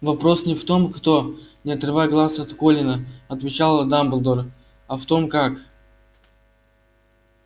но вопрос не в том кто не отрывая глаз от колина отвечала дамблдор а в том как